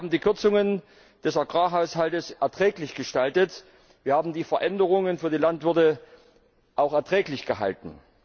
Wir haben die Kürzungen des Agrarhaushalts erträglich gestaltet, wir haben die Veränderungen für die Landwirte auch erträglich gehalten.